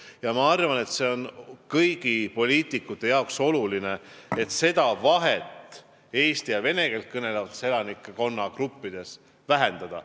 Ja ma arvan, et kõigi poliitikute jaoks on oluline vähendada seda vahet eesti ja vene keelt kõnelevates elanike gruppides.